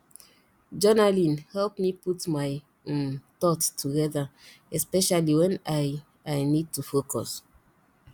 journaling help me put my um thoughts together especially when i i need to focus